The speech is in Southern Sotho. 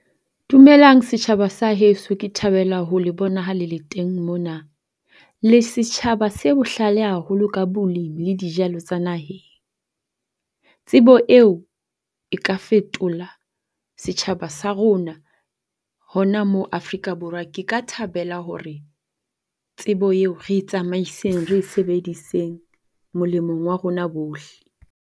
Dumelang setjhaba sa heso ke thabela ho le bona ha le le teng mona. Le setjhaba se bohlale haholo ka bolemi le dijalo tsa naheng. Tsebo eo e ka fetola setjhaba sa rona hona mo Afrika Borwa. Ke ka thabela hore tsebo eo re e tsamaiseng re e sebediseng molemong wa rona bohle.